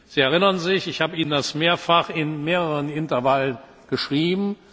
Sie erinnern sich, ich habe Ihnen das mehrfach in mehreren Intervallen geschrieben.